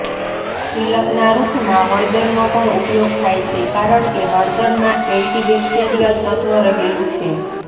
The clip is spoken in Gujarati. તિલકના રૂપમાં હળદરનો પણ ઉપયોગ થાય છે કારણ કે હળદરમાં એન્ટી બેક્ટેરિયલ તત્વ રહેલું છે